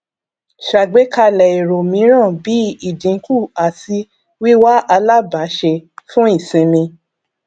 ṣàgbékalẹ èrò mìíràn bí ìdínkù àti wíwá alabàáṣe fún ìṣinmi